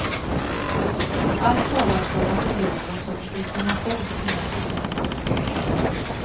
Allt talar för att det blir någon sorts information på måndagen.